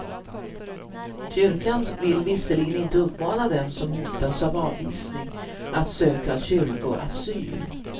Kyrkan vill visserligen inte uppmana dem som hotas av avvisning att söka kyrkoasyl.